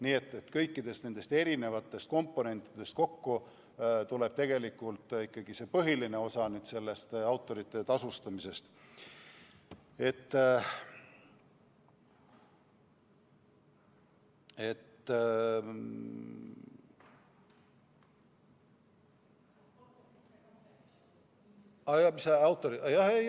Nii et kõikidest nendest komponentidest kokku tuleb ikkagi põhiline osa autorite tasust.